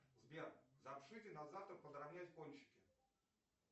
сбер запишите на завтра подровнять кончики